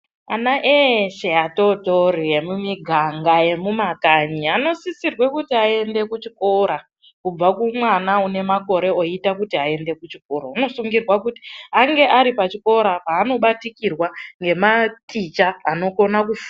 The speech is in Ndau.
Ana eshe atotori emumiganga emumakanyi anosisirwe kuti aende kuchikora kubva kumwana une makore oita kuti aende kuchikoro unosungirwa kuti ange ari pachikora panobatikirwa ngematicha anokone ku.